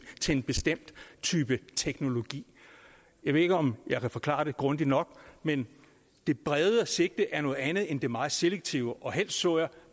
til en bestemt type teknologi jeg ved ikke om jeg kan forklare det grundigt nok men det bredere sigte er noget andet end det meget selektive og helst så jeg